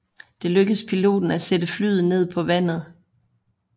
Det lykkedes piloten at sætte flyet ned på vandet